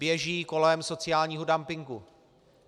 Běží kolem sociálního dumpingu.